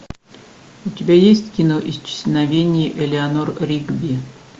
у тебя есть кино исчезновение элеанор ригби